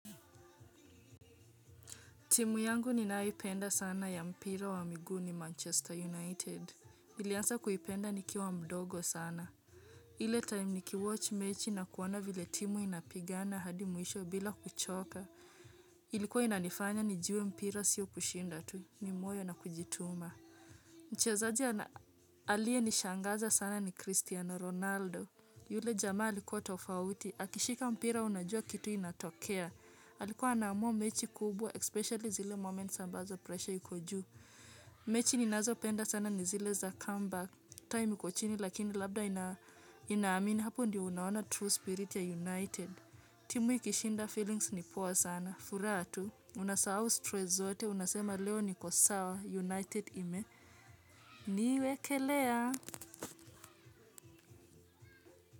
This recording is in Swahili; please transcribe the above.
Timu yangu ninayoipenda sana ya mpira wa miguu ni Manchester United. Nilianza kuipenda nikiwa mdogo sana. Ile time nikiwatch mechi na kuona vile timu inapigana hadi mwisho bila kuchoka. Ilikuwa inanifanya nijue mpira siyo kushinda tu. Ni moyo na kujituma. Mchezaji aliye nishangaza sana ni Cristiano Ronaldo. Yule jamaa alikuwa tofauti. Akishika mpira unajua kitu inatokea. Alikuwa anaamua mechi kubwa especially zile moment ambazo pressure yuko juu mechi ninazopenda sana ni zile za comeback time iko chini lakini labda inaamini hapo ndio unaona true spirit ya United timu ikishinda feelings ni poa sana furaha tu.unasahau stress zote unasema leo niko sawa United ime niwe kelea.